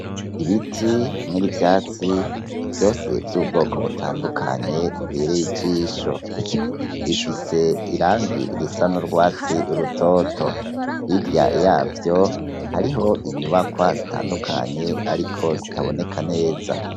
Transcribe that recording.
Ibiti hamwe n'ivyatsi, vyose vy'ubwoko butandukanye bibereye ijisho. Bifise irangi risa n'urwatsi rutoto. Hirya y'avyo, hariho inyubakwa zitandukanye ariko zitaboneka neza.